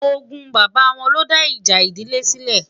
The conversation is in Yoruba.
ògún bàbá wọn ló dá ìjà ìdílé sile